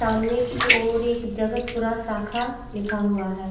सामने की ओर एक जगत पूरा शाखा लिखा हुआ है।